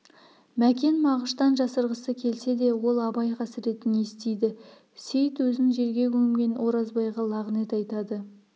мәкен мағыштан жасырғысы келсе де ол абай қасіретін естиді сейіт өзін жерге көмген оразбайға лағынет айтады